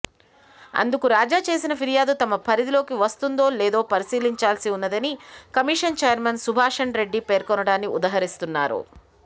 అందుకు రాజా చేసిన ఫిర్యాదు తమ పరిధిలోకి వస్తుందో లేదో పరిశీలించాల్సి ఉన్నదని కమిషన్ చైర్మన్ సుభాషణ్రెడ్డి పేర్కొనటాన్ని ఉదహరిస్తున్నారు